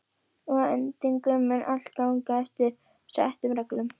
Og að endingu mun allt ganga eftir settum reglum.